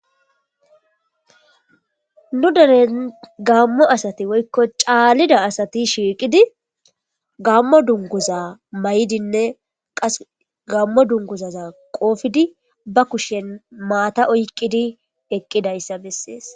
nu deren gammo asati woykko caallida asati shiiqidi gammo dunguza mayidinne qas gammo dunguzaza qoofidi ba kushen maata oykqidi eqqidayssa bessees